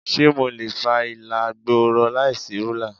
Ṣé mo lè fa ìlà gbọọrọ láìsí rúlà?